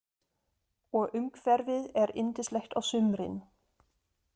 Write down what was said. Og umhverfið er yndislegt á sumrin.